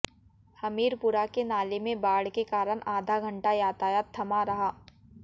हमीरपुरा के नाले में बाढ़ के कारण आधा घंटा यातायात थमा रहा